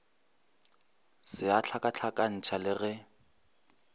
se a hlakahlakantšha le ge